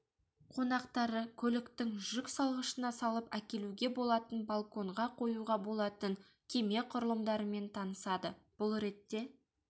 қонақтары көліктің жүк салғышына салып әкелуге болатын балконға қоюға болатын кеме құрылымдарымен танысады бұл ретте